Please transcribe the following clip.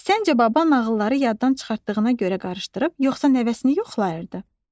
Səncə baba nağılları yaddan çıxartdığına görə qarışdırıb yoxsa nəvəsini yoxlayırdı?